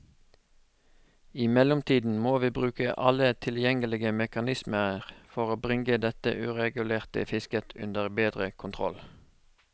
I mellomtiden må vi bruke alle tilgjengelige mekanismer for bringe dette uregulerte fisket under bedre kontroll.